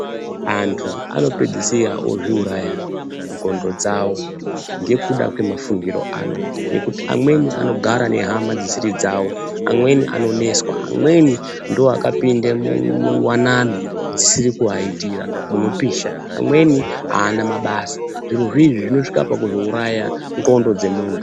Antu anopedzisira ozviuraya nzxondo dzavo ngekuda kwemafungiro aanoita ngekuti amweni anogara nehama dzisiri dzavo, amweni anonetswa, amweni ndiwo akapinde muwanano dzisiri kuvaitira inopisha, amweni haana mabasa, zviro izvozvi izvi zvinosvika pakuzouraya nzxondo dzemuntu.